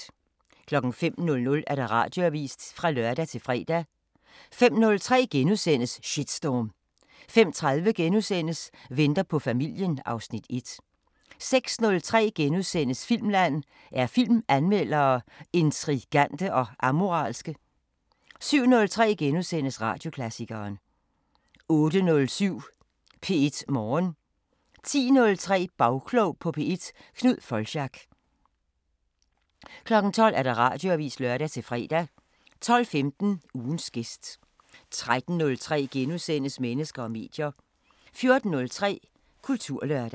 05:00: Radioavisen (lør-fre) 05:03: Shitstorm * 05:30: Venter på familien (Afs. 1)* 06:03: Filmland: Er filmanmeldere intrigante og amoralske? * 07:03: Radioklassikeren * 08:07: P1 Morgen 10:03: Bagklog på P1: Knud Foldschack 12:00: Radioavisen (lør-fre) 12:15: Ugens gæst 13:03: Mennesker og medier *